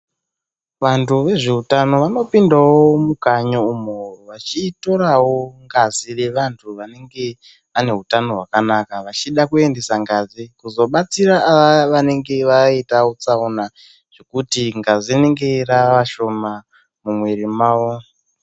Vanthu vezveutano vanopindawo mumakanyi umwo, vechitorawo ngazi kune vanthu vanenge vane utano hwakanaka vechida kundodetsera vanthu vanenge vaitawo tsaona ngazi inenge yaashomani mumwiri mwawo.